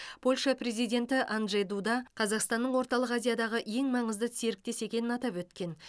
польша президенті анджей дуда қазақстанның орталық азиядағы ең маңызды серіктес екенін атап өткен